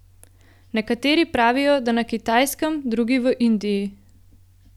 Nekateri pravijo, da na Kitajskem, drugi v Indiji.